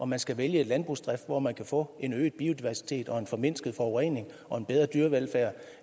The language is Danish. man skal vælge en landbrugsdrift hvor man kan få en øget biodiversitet en formindsket forurening og en bedre dyrevelfærd